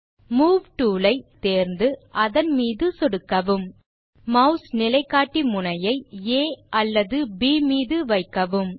move tool ஐ toolbar இலிருந்து தேர்ந்து அதன் மீது சொடுக்கவும் மாஸ் நிலைகாட்டி முனையை ஆ அல்லது ப் மீது வைக்கவும்